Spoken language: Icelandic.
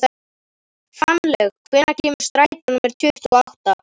Fannlaug, hvenær kemur strætó númer tuttugu og átta?